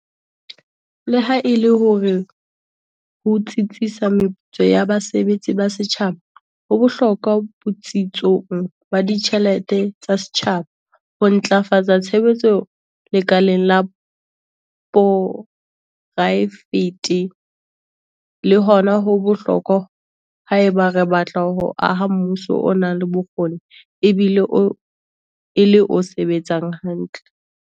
Leha e le hore ho tsitsisa meputso ya basebetsi ba setjhaba ho bohlokwa botsitsong ba ditjhelete tsa setjhaba, ho ntlafatsa tshebetso lekaleng la poraefete le hona ho bohlokwa haeba re batla ho aha mmuso o nang le bokgoni ebile e le o sebetsang hantle.